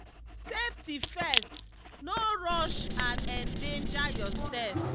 safety first—no rush and endanger yourself.